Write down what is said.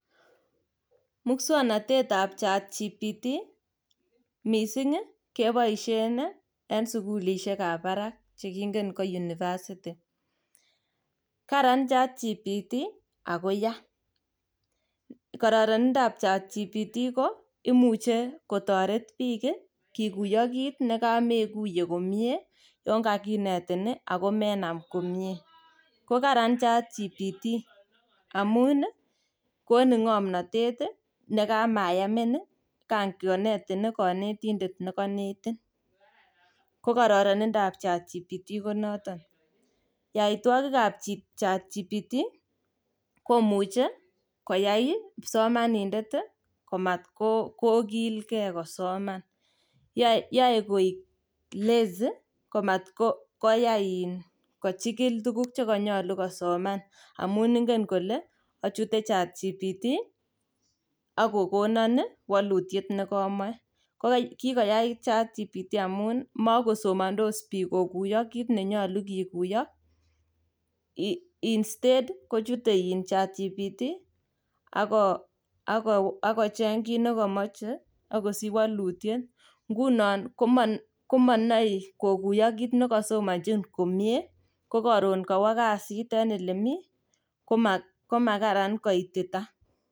Muswoknotetab chatgtp keboisien en sukulisiekab barak chekingen ko university. Karan chatgtp ako ya, kororindab chatgtp imuch ko kotoret biik kokuyo kit nekamekuye komie yon kakinetin ii ago menam komie ko karan chatgtp. Amun ii konin ng'omnotet nekamayamin kangonetin konetindet nekonetin, ko kororonindap chatgtp konoton. Yoitwogkab chatgtp komuche koyai kipsomanindet komatkokilkei kosoman, yoe koik lazy, komatkoyai kochikil tuguk chekonyolu kosoman amun ingen kole ochute chatgtp ak kokonon ii wolutiet nekomoche. Kikoyait chatgtp amun mekosomondos biik kokuyo kit nenyolu kokuyo instead kochute chatgtp ako ako akocheng' kit nekomoche akosich wolutiet, ngunon komo komonoe kit nekosomonji komie kokoron kowo kazit en elemi koma komakaran koitita.